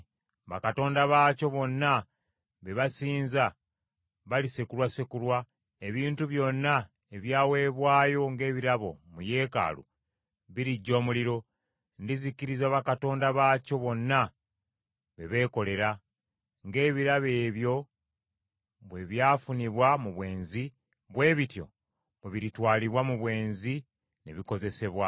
Bakatonda baakyo bonna be basinza, balisekulwasekulwa; ebintu byonna ebyaweebwayo ng’ebirabo mu yeekaalu biriggya omuliro; ndizikiriza bakatonda baakyo bonna be beekolera. Ng’ebirabo ebyo bwe byafunibwa mu bwenzi, bwe bityo bwe biritwalibwa mu bwenzi ne bikozesebwa.”